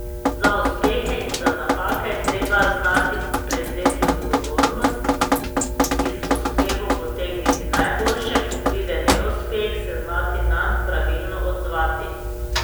Za uspehe in za napake je treba znati prevzeti odgovornost, iz uspehov potegniti najboljše, ko pride neuspeh, se znati nanj pravilno odzvati.